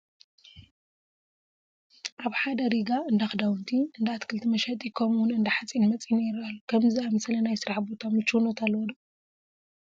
ኣብ ሓደ ሪጋ እንዳ ክዳውንቲ፣ እንዳ ኣትክልቲ መሸጢ ከምኡውን እንዳ ሓፂን መፅን ይርአ ኣሎ፡፡ ከምዚ ዝኣምሰለ ናይ ስራሕ ቦታ ምቹውነት ኣለዎ ዶ?